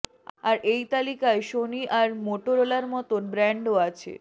আর এই তালিকায় সোনি আর মোটোরোলার মতন ব্র্যান্ডও আছে